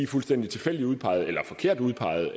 fuldstændig tilfældigt udpeget eller forkert udpeget